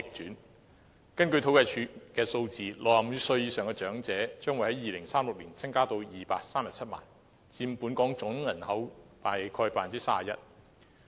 根據政府統計處的數字 ，65 歲以上長者的人數，將會在2036年增至237萬，佔本港總人口約 31%。